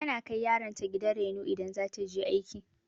Tana kai yaron ta gidan raino idan za ta je aiki.